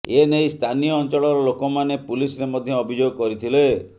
ଏନେଇ ସ୍ଥାନୀୟ ଅଞ୍ଚଳର ଲୋକମାନେ ପୁଲିସରେ ମଧ୍ୟ ଅଭିଯୋଗ କରିଥିଲେ